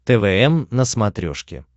твм на смотрешке